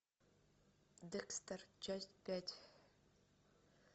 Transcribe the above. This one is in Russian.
декстер часть пять